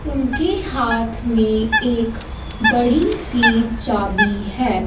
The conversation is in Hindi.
उनके हाथ में एक बड़ी सी चाबी है।